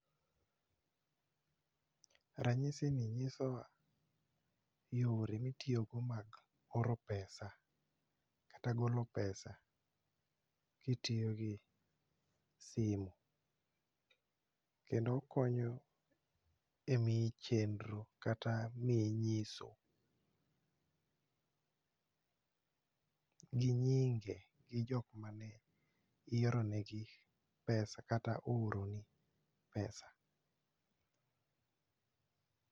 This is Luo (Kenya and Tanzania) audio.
Ranyisini nyisowa yore mitiyogo mag oro pesa kata golo pesa kitiyogi simo kendo okonyo e miyi chendro kata miyi nyiso gi nyinge gi jokmane ioronegi pesa kata oroni pesa